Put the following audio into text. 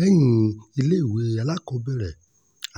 lẹ́yìn iléèwé alákọ̀ọ́bẹ̀rẹ̀